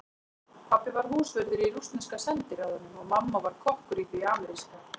Pabbi var húsvörður í rússneska sendiráðinu og mamma var kokkur í því ameríska.